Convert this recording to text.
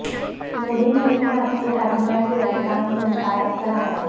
مودی نے انہیں اپنے کابینہ کے ارکان سے متعارف کرایا